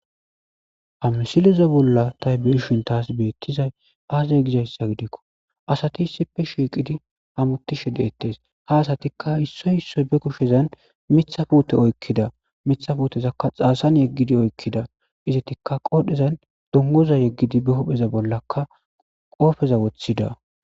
amsileza bolla tay biishin taas beettizay aazey gizayssa gidikko asati issippe shiiqidi hamutishe deettes ha asatikka issoy issoy be kushezan mitha puute oykkida mitha futezakka xaasan yeggidi oykkida izetikka qoodhezan dungoza yeggidi be hupheza bollakka qoofeza woththida